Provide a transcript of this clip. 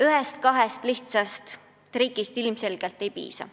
Ühest-kahest lihtsast trikist ilmselgelt ei piisa.